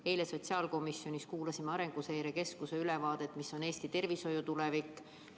Eile sotsiaalkomisjonis kuulasime Arenguseire Keskuse ülevaadet sellest, milline on Eesti tervishoiu tulevik.